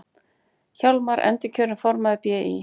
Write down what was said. Hjálmar endurkjörinn formaður BÍ